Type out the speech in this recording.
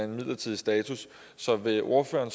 midlertidig status så vil ordføreren